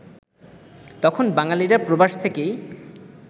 তখন বাঙালিরা প্রবাস থেকেই